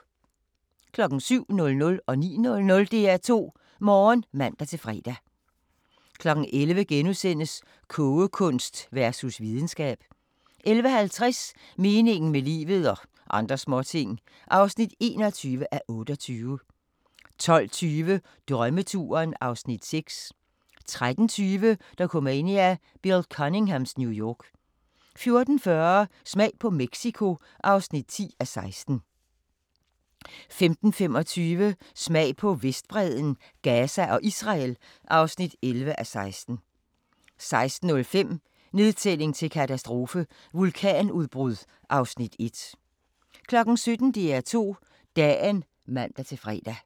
07:00: DR2 Morgen (man-fre) 09:00: DR2 Morgen (man-fre) 11:00: Kogekunst versus videnskab * 11:50: Meningen med livet – og andre småting (21:28) 12:20: Drømmeturen (Afs. 6) 13:20: Dokumania: Bill Cunninghams New York 14:40: Smag på New Mexico (10:16) 15:25: Smag på Vestbredden, Gaza og Israel (11:16) 16:05: Nedtælling til katastrofe - vulkanudbrud (Afs. 1) 17:00: DR2 Dagen (man-fre)